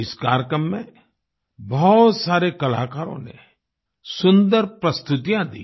इस कार्यक्रम में बहुत सारे कलाकारों ने सुंदर प्रस्तुतियाँ दी